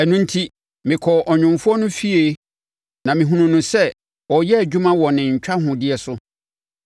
Ɛno enti, mekɔɔ ɔnwomfoɔ no efie na mehunuu no sɛ, ɔreyɛ adwuma wɔ ne ntwahodeɛ so.